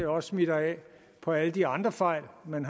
også smitter af på alle de andre fejl man